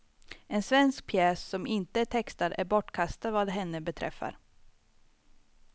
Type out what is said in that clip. En svensk pjäs, som inte är textad, är bortkastad vad henne beträffar.